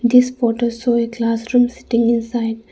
this photo show a classroom sitting inside.